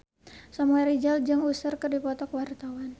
Samuel Rizal jeung Usher keur dipoto ku wartawan